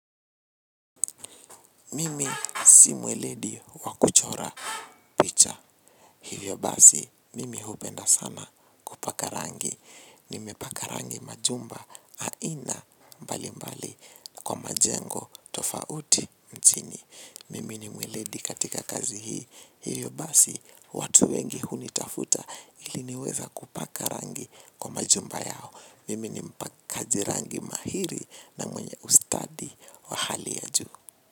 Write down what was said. Mimi si mweledi wakuchora picha. Hivyo basi mimi hupenda sana kupaka rangi. Nimepaka rangi majumba aina mbali mbali. Kwa majengo tofauti nchini mimi ni mweledi katika kazi hii. Hivyo basi watu wengi hunitafuta ili niweze kupaka rangi kwa majumba yao. Mimi ni mpakaji rangi mahiri na mwenye ustadi wa hali ya juu.